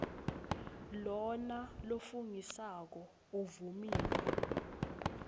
lona lofungisako uvumile